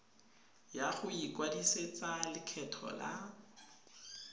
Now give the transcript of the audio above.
ya go ikwadisetsa lekgetho la